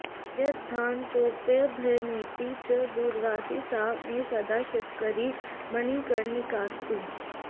यद्ध्यानतोप्यभयमेति च दूरवासी सा मे सदा शिवकरी मणिकर्णिकास्तु